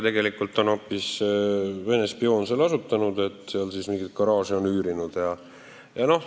Tegelikult on hoopis Vene spioon selle asutanud, seal mingit garaaži üürinud.